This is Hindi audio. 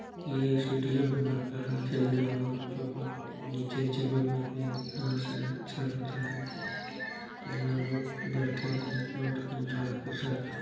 ये स्टेडियम है लगता है खेलने वाले बच्चों का। नीचे जमीन में घर है अच्छा लग रहा है देखने में यहाँ लोग बैठे है और एंजॉय कर रहे हैं।